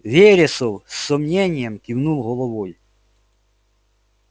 вересов с сомнением кивнул головой